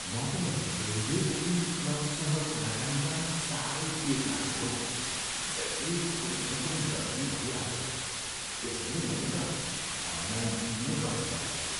म त railway booking क्लर्कसँग कुराकानी गर्न साह्रै पिर लाग्छ हौ। जहिल्यै कुनै न कुनै गडबडी भइहाल्छ। त्यसैले मैले त अनलाइन बुकिङ नै गर्ने गरेको छु।